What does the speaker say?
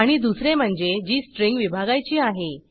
आणि दुसरे म्हणजे जी स्ट्रिंग विभागायची आहे